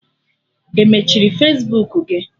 E mechiri Fesbuku gị?